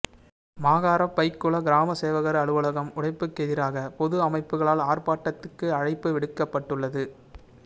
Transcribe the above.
மாகாறம்பைக்குளம் கிராம சேவகர் அலுவலகம் உடைப்புக்கெதிராக பொது அமைப்புக்களால் ஆர்ப்பாட்டத்துக்கு அழைப்பு விடுக்கப்பட்டுள்ளது